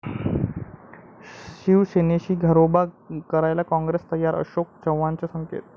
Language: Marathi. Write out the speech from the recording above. शिवसेनेशी घरोबा करायला काँग्रेस तयार?,अशोक चव्हाणांचे संकेत